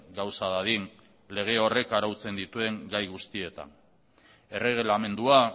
gauza dadin lege horrek arautzen dituen gai guztietan erregelamendua